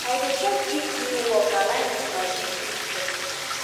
i dey check if new work align with my big picture